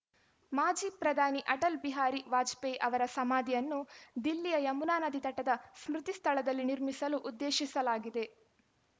ಮಾಜಿ ಪ್ರಧಾನಿ ಅಟಲ್‌ ಬಿಹಾರಿ ವಾಜಪೇಯಿ ಅವರ ಸಮಾಧಿಯನ್ನು ದಿಲ್ಲಿಯ ಯಮುನಾ ನದಿ ತಟದ ಸ್ಮೃತಿ ಸ್ಥಳದಲ್ಲಿ ನಿರ್ಮಿಸಲು ಉದ್ದೇಶಿಸಲಾಗಿದೆ